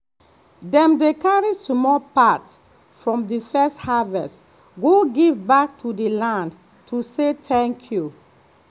dem dey carry small part from the first harvest go give back to the land to say thank you.